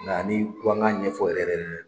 Nga n'i ko an ka ɲɛ ɲɛfɔ yɛrɛ yɛrɛ yɛrɛ